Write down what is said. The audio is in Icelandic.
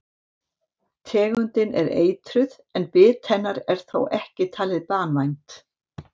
Tegundin er eitruð en bit hennar er þó ekki talið banvænt.